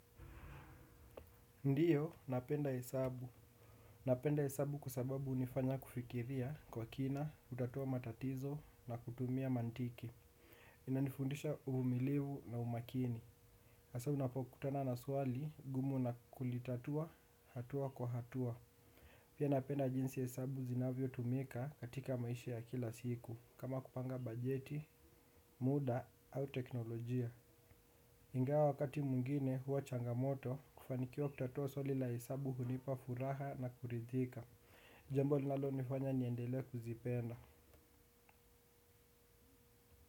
Ndiyo, napenda hesabu. Napenda hesabu kwa sababu unifanya kufikiria kwa kina, kutatua matatizo na kutumia mantiki. Inanifundisha uvumilivu na umakini. Asa unapokutana na swali, gumu na kulitatua, hatua kwa hatua. Pia napenda jinsi hesabu zinavyotumika katika maisha ya kila siku, kama kupanga bajeti, muda au teknolojia. Ingawa wakati mwingine huwa changamoto kufanikiwa kutatua swali la hesabu hunipa furaha na kuridhika. Jambo linalonifanya niendele kuzipenda.